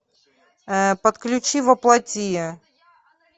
подключи во плоти